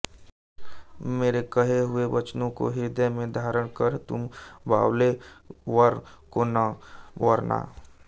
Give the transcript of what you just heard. मेरे कहे हुए वचनों को हृदय में धारण कर तुम बावले वर को न वरना